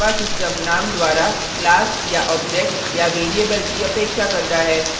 इसका अर्थ है कि java system name द्वारा class या object या variable की अपेक्षा करता है